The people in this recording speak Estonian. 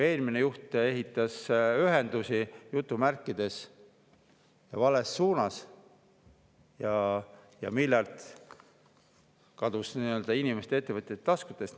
Eelmine juht ehitas ühendusi "vales suunas" ning miljard kadus inimeste ja ettevõtjate taskutest.